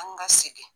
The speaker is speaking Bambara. An ka segin